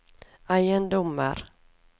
eiendommer